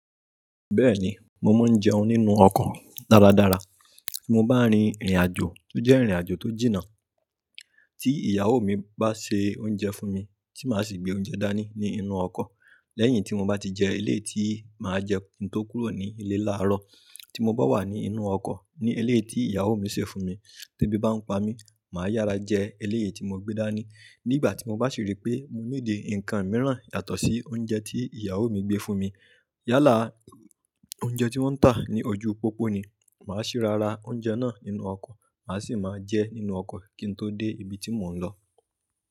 Bẹ́ẹ̀ni, mo máa ń jẹun nínú ọkọ̀ dáradára. Tí mo bá rin ìrìnàjò, tó jẹ́ ìrìnàjò tó jìnnà, tí ìyàwó mi bá ṣe oúnjẹ fún mi, tí màá sì gbé oúnjẹ dání ní inú ọkọ̀. Lẹ́yìn tí mo bá ti jẹeléyìí tí màá jẹ kí n tó kúrò ní ilé láàárọ̀, tí mo bá wà ní inú ọkọ̀ ní eléyìí tí ìyàwó mi sè fún mi, ti ebí bá ń pa mí, màá yára jẹ eléyìí tí mo gbé dání. Nígbà tí mo bá sì rí pé mo níidì ǹkan mìíràn yàtọ̀ sí oúnjẹ tí ìyàwó mi gbé fún mi, yálà oúnjẹ tí wọ́n ń tà ní ojú pópó ni, màá sì rárá oúnjẹ náà nínú ọkọ̀, màá sì máa jẹ nínú ọkọ̀ kí n tó dé ibi tí mò ń lọ.